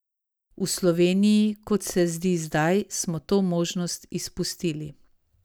V Sloveniji, kot se zdi zdaj, smo to možnost izpustili.